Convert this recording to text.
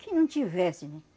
Que não tivesse,